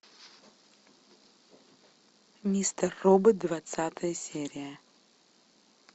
мистер робот двадцатая серия